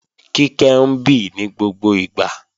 Kíkẹ́ ń bì ní gbogbo ìgbà